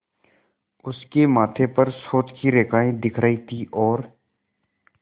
उसके माथे पर सोच की रेखाएँ दिख रही थीं और